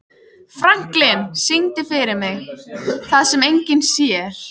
Franklin, syngdu fyrir mig „Það sem enginn sér“.